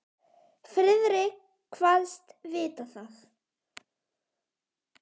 Friðrik kvaðst vita það.